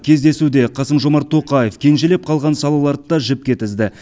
кездесуде қасым жомарт тоқаев кенжелеп қалған салаларды да жіпке тізді